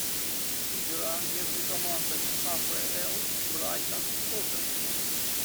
игра между командами апл брайтон тоттенхэм